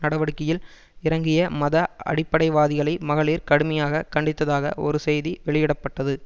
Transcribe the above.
நடவடிக்கையில் இறங்கிய மத அடிப்படைவாதிகளை மகளிர் கடுமையாக கண்டித்ததாக ஒரு செய்தி வெளியிட பட்டது